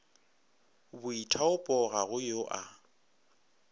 boithaopo ga go yo a